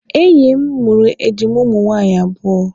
Enyi m mụrụ ejima ụmụ nwaanyị abụọ.